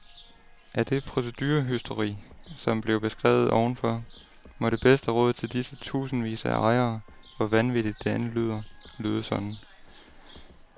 Af det procedurehysteri, som blev beskrevet ovenfor, må det bedste råd til disse tusindvis af ejere, hvor vanvittigt det end lyder, lyde sådan.